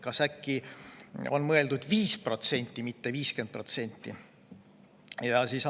Kas äkki on mõeldud 5%, mitte 50%?